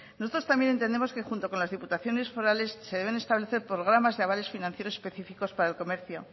nosotros también entendemos que junto con las diputaciones forales se deben establecer programas de avales financieros específicos para el comercio